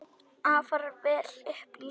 Afar vel upplýstur.